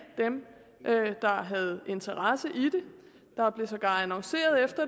dem der havde interesse i det der blev sågar annonceret